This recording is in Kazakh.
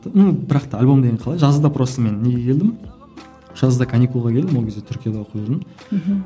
ну бірақ та альбом деген қалай жазда просто мен неге келдім жазда каникулға келдім ол кезде түркияда оқып жүрдім мхм